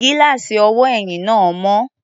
Gíláàsì ọwọ́ ẹ̀yìn náà mọ́.